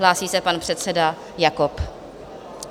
Hlásí se pan předseda Jakob.